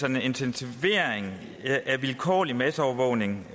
en intensivering af vilkårlig masseovervågning